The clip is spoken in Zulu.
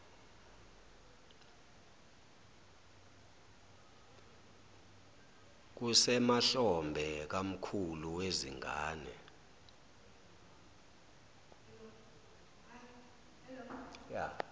kusemahlombe kamkhulu wezingane